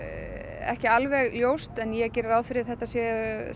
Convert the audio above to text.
ekki alveg ljóst en ég geri ráð fyrir að þetta séu